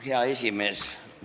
Hea esimees!